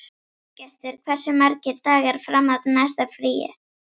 Þorgestur, hversu margir dagar fram að næsta fríi?